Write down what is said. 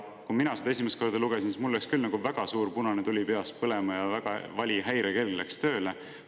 Kui mina seda esimest korda lugesin, siis mul läks küll väga suur punane tuli peas põlema ja väga vali häirekell läks tööle.